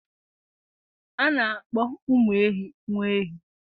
a na-akpọ ụmụ ehi nwa ehi